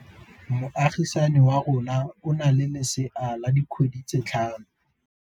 Moagisane wa rona o na le lesea la dikgwedi tse tlhano.